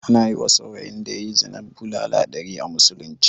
Ana yiwa saurayin da yayi zina bulala ɗari a musulunce